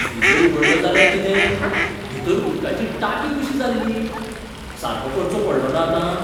Freezer उगडलो जाल्यार कितें? भितर उदकाची टांकी कशी जाल्ली. सारको करचो पडलोना आतां?